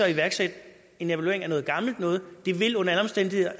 iværksætte en evaluering af noget gammelt noget det vil under alle omstændigheder